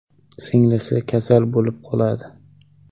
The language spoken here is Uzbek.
Singlisi kasal bo‘lib qoladi.